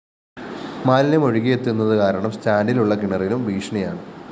മാലിന്യം ഒഴുകിയെത്തുന്നതു കാരണം സ്റ്റാന്‍ഡിലുള്ള കിണറിനും ഭീഷണിയാണ്